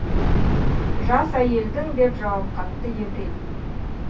жас әйелдің деп жауап қатты еврей